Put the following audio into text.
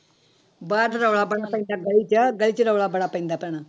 ਬਾਹਰ ਤਾਂ ਰੌਲਾ ਬੜਾ ਪੈਂਦਾ ਗਲੀ ਚ ਗਲੀ ਚ ਰੌਲਾ ਬੜਾ ਪੈਂਦਾ ਭੈਣਾ।